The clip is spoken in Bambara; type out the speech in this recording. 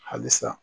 Halisa